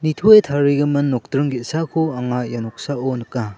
nitoe tarigimin nokdring ge·sako anga ia noksao nika.